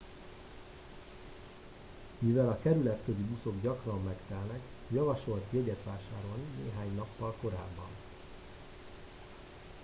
mivel a kerületközi buszok gyakran megtelnek javasolt jegyet vásárolni néhány nappal korábban